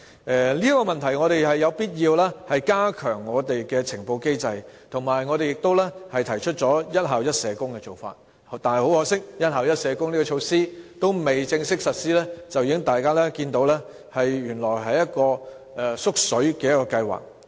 就此，政府有必要加強現行呈報機制，而我們亦提出了"一校一社工"的做法，但很可惜，"一校一社工"的措施尚未正式實施，大家卻已看見，原來這是一項"縮水"的計劃。